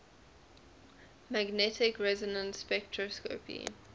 magnetic resonance spectroscopy